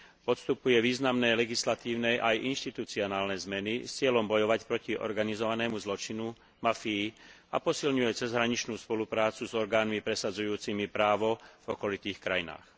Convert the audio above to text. Podstupuje významné legislatívne aj inštitucionálne zmeny s cieľom bojovať proti organizovanému zločinu, mafii a posilňuje cezhraničnú spoluprácu s orgánmi presadzujúcimi právo v okolitých krajinách.